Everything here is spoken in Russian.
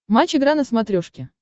матч игра на смотрешке